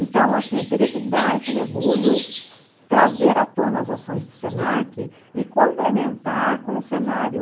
Então, assim, teria que dar esse mergulho, trazer à tona as ações do se na que e complementar com o cenário.